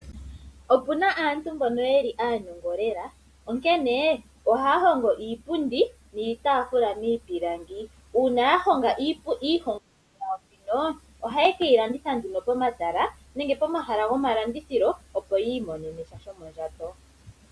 Opuna aantu mbono yeli aantogo lela, onkene ohaya hogo iipundi niitafula miipilangi, uuna yahoga iihogomwa yayo mbino, oha yekeyi landitha nduno pomatala nenge pomahala gomalandithilo opo yimonene shayo shomondjato.